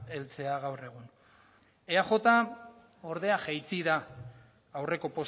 heltzea gaur egun eaj ordea jaitsi da aurreko